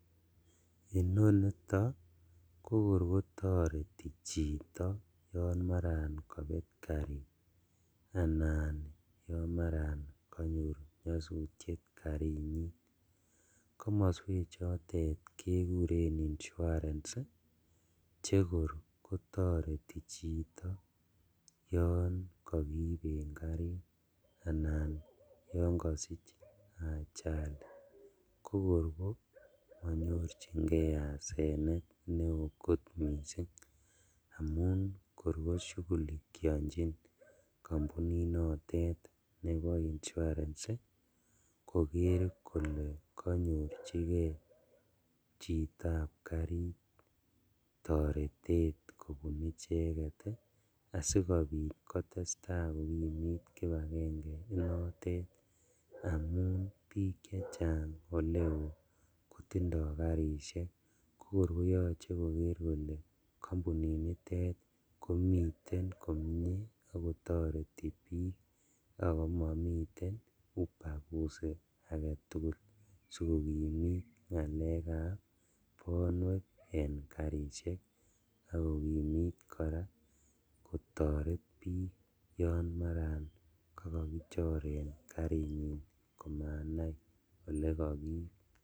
inonito kokor kotoreti chito yon maran kobet karit anan yon maran konyor nyosutiet karinyin, komoswechotet kekuren insurance ii chekor kotoreti chito yon kokiiben karit anan yon kosich ajali kokor komonyorjingee asenet neo kot missing' amun kor koshugulikionjin kompuninotet nebo insurance koker kole konyorjinlgee chitab karit toretet kobun icheket asikobit kotestaa kokimit kipagenge inotet amun bik chechang oleo kotindo karishek kokor koyoche koker kole kompuninitet komiten komie ak kotoreti bik ako momiten ubaguzi aketugul sikokimit ngalekab bwonek en karishek akokimit koraa kotoret bik yon maran kakakichoren karinyin komanai ole kokiib.